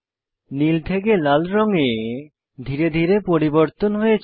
নীল থেকে লাল রঙে ধীরে ধীরে পরিবর্তন হয়েছে